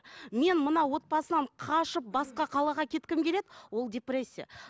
мен мына отбасынан қашып басқа қалаға кеткім келеді ол депрессия